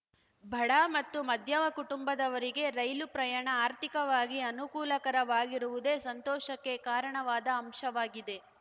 ಬಡ ಮತ್ತು ಮಧ್ಯಮ ಕುಟುಂಬದವರಿಗೆ ರೈಲು ಪ್ರಯಾಣ ಆರ್ಥಿಕವಾಗಿ ಅನುಕೂಲಕರ ವಾಗಿರುವುದೇ ಸಂತೋಷಕ್ಕೆ ಕಾರಣವಾದ ಅಂಶವಾಗಿದೆ